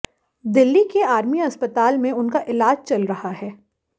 दिल्ली के आर्मी अस्पताल में उनका इलाज चल रहा है